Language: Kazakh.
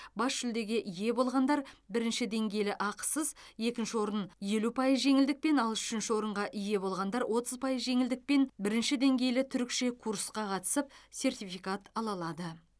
бас жүлдеге ие болғандар бірінші деңгейлі ақысыз екінші орын елу пайыз жеңілдікпен ал үшінші орынға ие болғандар отыз пайыз жеңілдікпен бірінші деңгейлі түрікше курсқа қатысып сертификат ала алады